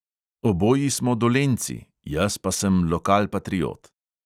Oboji smo dolenjci, jaz pa sem lokalpatriot.